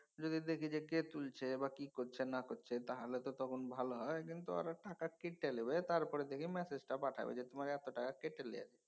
যদি দেখি যে কে তুলছে বা কি করছে না করছে তাহলে তো তখন ভালো হয়। কিন্তু ওরা টাকা কেটে লিবে তারপরে যদি ম্যাসেজটা পাঠায় ঐ যে তোমার যে এত টাকা কেটে লিয়েছে